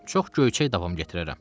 Çox göyçək davam gətirərəm.